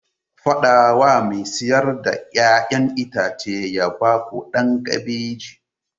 Faɗa wa mai siyar da 'ya'yan itace ya ba ku ɗan kabeji!